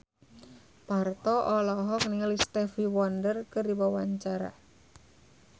Parto olohok ningali Stevie Wonder keur diwawancara